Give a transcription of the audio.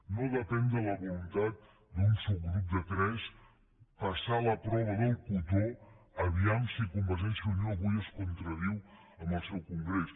no depèn de la voluntat d’un subgrup de tres el fet de passar la prova del cotó vejam si convergència i unió avui es contradiu en el seu congrés